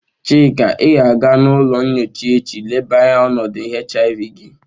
Chika, I ga-aga n'ulo nyocha echi leba anya onodu HIV gi!